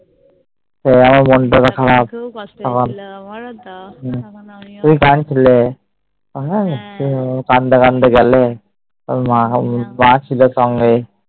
আমার মনটা তখন খারাপ তুমি কানছিলে কানতে কানতে গেলে মা ছিল সঙ্গে